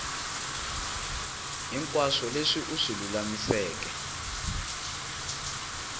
hinkwaswo leswi u swi lulamiseke